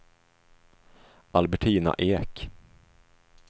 Albertina Ek